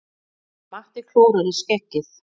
Matti klórar í skeggið.